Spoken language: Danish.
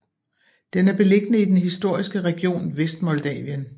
Den er beliggende i den historiske region Vestmoldavien